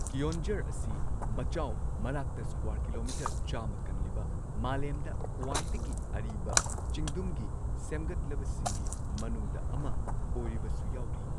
ꯀꯤꯑꯣꯟꯓꯔ ꯑꯁꯤ ꯃꯆꯥꯎ ꯃꯔꯥꯛꯇ ꯁ꯭ꯀ꯭ꯋꯥꯔ ꯀꯤꯂꯣꯃꯤꯇꯔ ꯆꯥꯝꯃ ꯀꯜꯂꯤꯕ, ꯃꯥꯂꯦꯝꯗ ꯈ꯭ꯋꯥꯏꯗꯒꯤ ꯑꯔꯤꯕ ꯆꯤꯡꯗꯨꯝꯒꯤ ꯁꯦꯝꯒꯠꯂꯕꯁꯤꯡꯒꯤ ꯃꯅꯨꯡꯗ ꯑꯃ ꯑꯣꯏꯔꯤꯕꯁꯨ ꯌꯥꯎꯔꯤ꯫